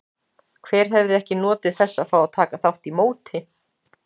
Hver hefði ekki notið þess að fá að taka þátt í móti?